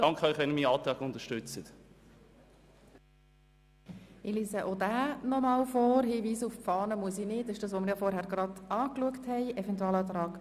Nun erteile ich das Wort zuerst dem Kommissionspräsidenten und dann allen Fraktionen.